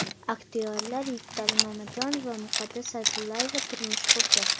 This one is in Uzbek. Aktyorlar Yigitali Mamajonov va Muqaddas Sa’dullayeva turmush qurdi .